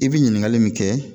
I bi ɲininkali min kɛ